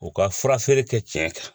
U ka fura feere kɛ tiɲɛ kan